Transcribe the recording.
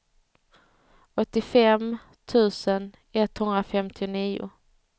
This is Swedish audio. åttiofem tusen etthundrafemtionio